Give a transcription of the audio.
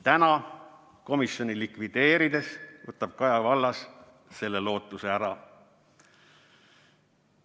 Täna, komisjoni likvideerides, võtab Kaja Kallas selle lootuse ära.